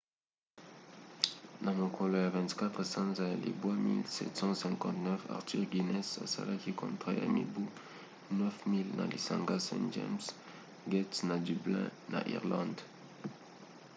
na mokolo ya 24 sanza ya libwa 1759 arthur guinness asalaki contrat ya mibu 9 000 na lisanga st james 'gate na dublin na irlande